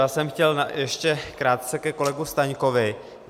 Já jsem chtěl ještě krátce ke kolegovi Staňkovi.